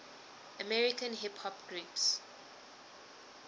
american hip hop groups